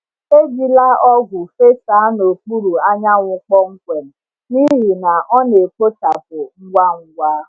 Ejila ọgwụ fesaa n’okpuru anyanwụ kpọmkwem, n’ihi na ọ na-ekpochapụ ngwa ngwa.